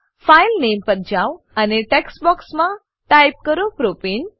file નામે file name પર જાવ અને ટેક્સ્ટ બોક્સમાં ટાઈપ કરો પ્રોપને